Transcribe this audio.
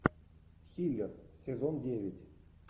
хилер сезон девять